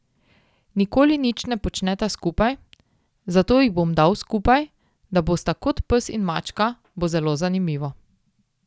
Nikoli nič ne počneta skupaj, zato jih bom dal skupaj, da bosta kot pes in mačka, bo zelo zanimivo.